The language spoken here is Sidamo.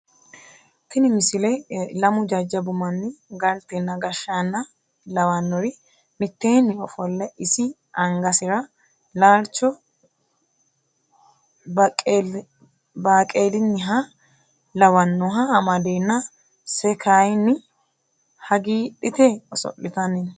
tini misile lamu jajjabbu manni galtenna gashshaanna lawanori mitteeni ofolle isi angasira laalcho baqeelinniha lawannoha amadeena se kayeenni hagiidhite oso'liatanni no